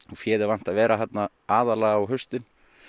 féð er vant að vera þarna aðallega á haustin